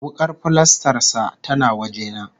Wuƙar filastar sa tana waje na